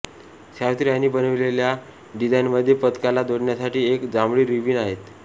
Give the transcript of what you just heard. सावित्री यांनी बनविलेल्या डिझाईनमध्ये पदकाला जोडण्यासाठी एक जांभळी रिबीन आहे